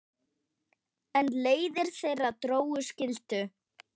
En leiðir þeirra Dóru skildu.